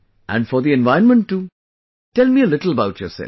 And for the environment too, tell me a little about yourself